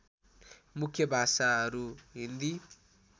मुख्य भाषाहरू हिन्दी